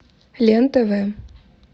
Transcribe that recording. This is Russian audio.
лен тв